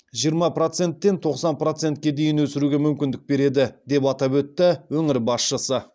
жиырма проценттен тоқсан процентке дейін өсіруге мүмкіндік береді деп атап өтті өңір басшысы